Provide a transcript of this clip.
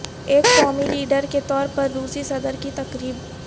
ایک قومی لیڈر کے طور پر روسی صدر کی تقریب